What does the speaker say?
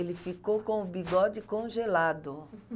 Ele ficou com o bigode congelado.